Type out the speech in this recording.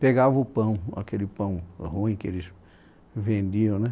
pegava o pão, aquele pão ruim que eles vendiam, né?